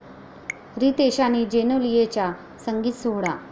रितेश आणि जेनेलियाचा संगीत सोहळा